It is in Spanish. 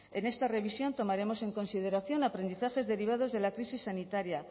en esta revisión tomaremos en consideración aprendizajes derivados de la crisis sanitaria